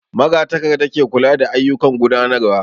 Magatakarda ke kula da ayyukan gudanarwa